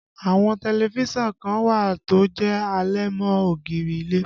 Àwọn tẹlifísàn kan wà tó jẹ́ àlẹ̀mọ́-ògiri ilé